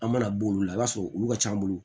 An mana b'olu la i b'a sɔrɔ olu ka c'an bolo